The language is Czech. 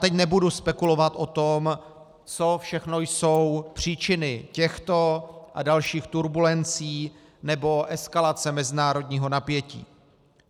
Teď nebudu spekulovat o tom, co všechno jsou příčiny těchto a dalších turbulencí nebo eskalace mezinárodního napětí.